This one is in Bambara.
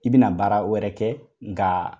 I bɛna baara wɛrɛ kɛ nka